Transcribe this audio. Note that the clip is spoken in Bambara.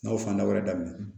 N'aw fanda wɛrɛ daminɛ